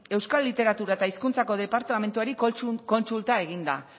euskal literatura eta hizkuntzako departamentuari kontsulta eginda